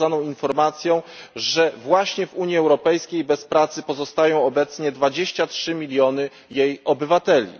informacją, że właśnie w Unii Europejskiej bez pracy pozostają obecnie dwadzieścia trzy miliony jej obywateli?